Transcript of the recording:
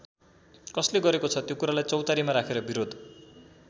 कसले गरेको छ त्यो कुरालाई चौतारीमा राखेर बिरोध?